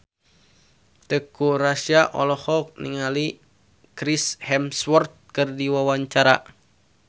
Teuku Rassya olohok ningali Chris Hemsworth keur diwawancara